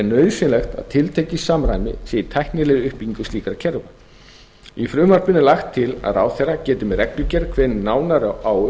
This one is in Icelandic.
nauðsynlegt að tiltekið samræmi sé í tæknilegri uppbyggingu slíkra kerfa í frumvarpinu er lagt til að ráðherra geti með reglugerð kveðið nánar á um